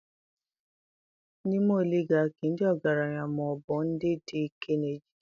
N'ime oligarchy, ndị ọgaranya ma ọ bụ ndị dị ike na-ejide ike